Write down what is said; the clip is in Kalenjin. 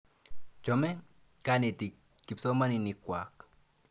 Chame kanetik kipsomaninik kwak.